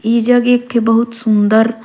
इहि जग एक ठी बहुत सुंदर--